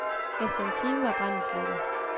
Efter en time var branden slukket.